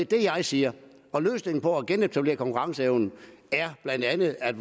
det jeg siger og løsningen på at genetablere konkurrenceevnen er blandt andet at